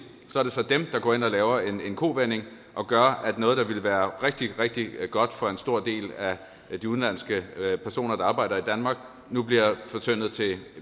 er det så dem der går ind og laver en kovending og gør at noget der ville være rigtig rigtig godt for en stor del af de udenlandske personer der arbejder i danmark nu bliver fortyndet til